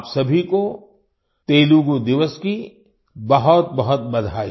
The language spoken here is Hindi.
आप सभी को तेलुगू दिवस की बहुतबहुत बधाई